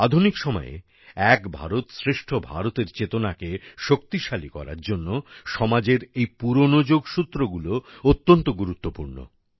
আধুনিক সময়ে এক ভারতশ্রেষ্ঠ ভারতএর চেতনাকে শক্তিশালী করার জন্য সমাজের এই পুরনো যোগসূত্রগুলি অত্যন্ত গুরুত্বপূর্ণ